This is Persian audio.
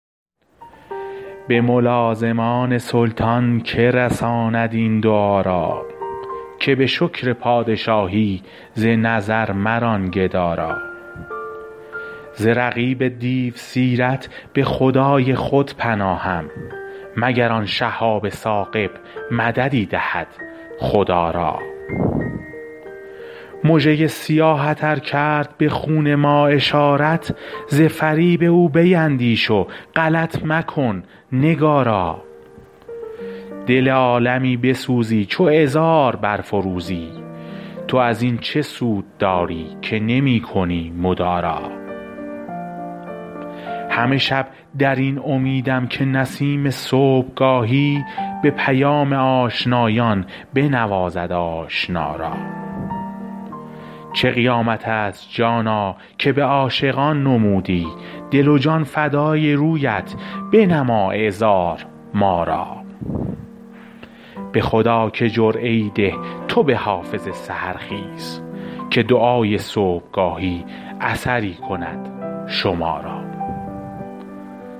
به ملازمان سلطان که رساند این دعا را که به شکر پادشاهی ز نظر مران گدا را ز رقیب دیوسیرت به خدای خود پناهم مگر آن شهاب ثاقب مددی دهد خدا را مژه ی سیاهت ار کرد به خون ما اشارت ز فریب او بیندیش و غلط مکن نگارا دل عالمی بسوزی چو عذار برفروزی تو از این چه سود داری که نمی کنی مدارا همه شب در این امیدم که نسیم صبحگاهی به پیام آشنایان بنوازد آشنا را چه قیامت است جانا که به عاشقان نمودی دل و جان فدای رویت بنما عذار ما را به خدا که جرعه ای ده تو به حافظ سحرخیز که دعای صبحگاهی اثری کند شما را